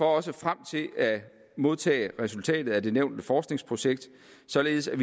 også frem til at modtage resultatet af det nævnte forskningsprojekt således at